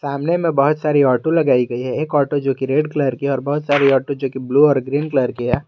सामने में बहुत सारी ऑटो लगाई गई है एक ऑटो जो कि रेड कलर की है और बहुत सारी ऑटो जो कि ब्लू और ग्रीन कलर की है।